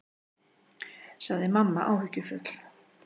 sagði mamma áhyggjufull.